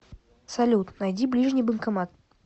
салют найди ближний банкомат